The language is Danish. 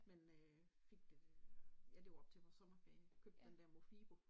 Men øh fik det der ja det var op til vores sommerferie købte den der Mofibo